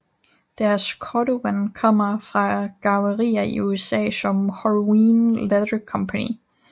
Deres cordovan kommer fra garvrier i USA som Horween Leather Company